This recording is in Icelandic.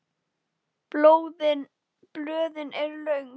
Blöðin eru löng.